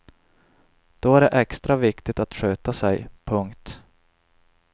Då är det extra viktigt att sköta sig. punkt